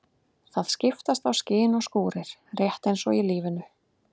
Það skiptast á skin og skúrir, rétt eins og í lífinu.